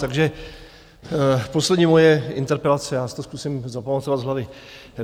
Takže poslední moje interpelace, já si to zkusím zapamatovat z hlavy.